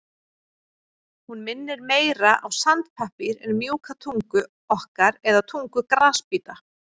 Hún minnir meira á sandpappír en mjúka tungu okkar eða tungu grasbíta.